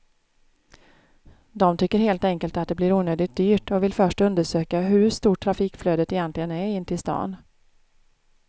De tycker helt enkelt att det blir onödigt dyrt och vill först undersöka hur stort trafikflödet egentligen är in till stan.